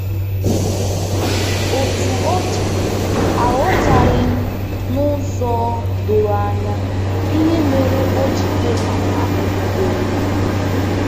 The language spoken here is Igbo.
Otú ọ dị, aghọtaghị m n'ụzọ doro anya ihe mere o ji kwe ka ahụhụ dịrị.